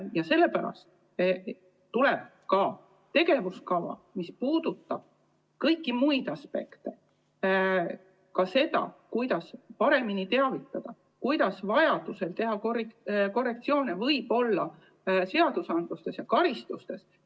Ja sellepärast koostatakse ka tegevuskava, mis puudutab kõiki muid aspekte, ka seda, kuidas paremini teavitada ning kuidas vajaduse korral teha seadustes ja karistustes korrektsioone.